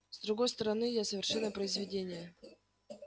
с другой стороны я совершенное произведение